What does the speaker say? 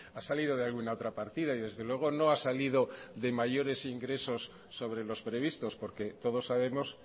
ha salido de alguna otra partida y desde luego no ha salido de mayores ingresos sobre los previstos porque todos sabemos